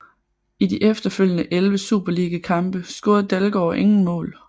I de efterfølgende elleve superligakampe scorede Dalgaard ingen mål